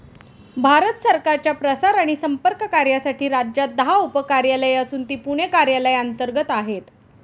भारत सरकारच्या प्रसार आणि संपर्क कार्यासाठी राज्यात दहा उपकार्यालये असून ती पुणे कार्यालया अंतर्गत आहेत.